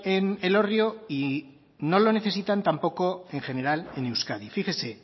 en elorrio y no lo necesitan tampoco en general en euskadi fíjese